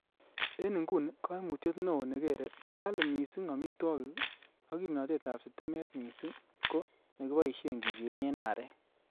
En inguni, koimutyet neo nekere ko kali missing amitwogik ak kimnotetab sitimet missing ko ne kiboishie kigenyen arek.